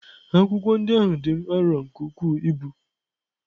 Akwụkwọ ndị ahụ dị m arọ nke ukwuu ibu.